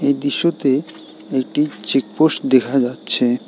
এই দৃশ্যতে একটি চেকপোষ্ট দেখা যাচ্ছে।